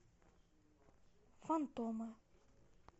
фантомы